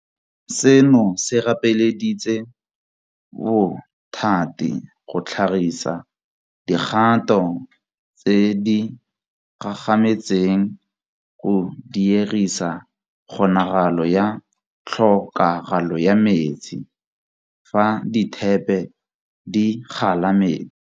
Seno se gapeleditse bothati go tlhagisa dikgato tse di gagametseng go diegisa kgonagalo ya Tlhokagalo ya Metsi, fa dithepe di kgala metsi.